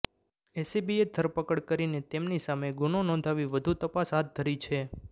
એસીબીએ ધરપકડ કરીને તેમની સામે ગુનો નોંધી વધુ તપાસ હાથ ધરી છે